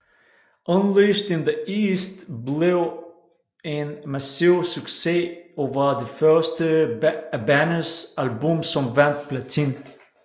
Unleashed in the East blev en massiv succes og var det første af bandets album som vandt platin